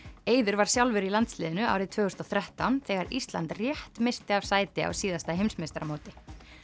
eiður var sjálfur í landsliðinu árið tvö þúsund og þrettán þegar Ísland rétt missti af sæti á síðasta heimsmeistaramóti